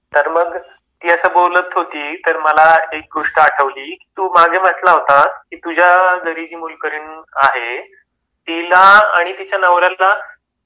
तर मग ती अस बोलत होते तर मला एक गोष्ट आठवली, तू माघे म्हंटला होता तुझा घरी जी मोलकरीण आहे. तिला आणि तिच्या नवऱ्याला,